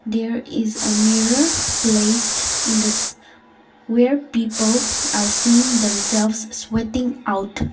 there is a mirror placed in this where people are seen themselves sweating out.